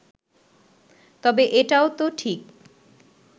তবে এটাও তো ঠিক